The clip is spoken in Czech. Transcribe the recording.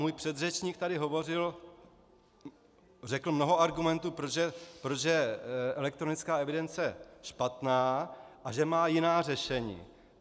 Můj předřečník tady hovořil, řekl mnoho argumentů, proč je elektronická evidence špatná a že má jiná řešení.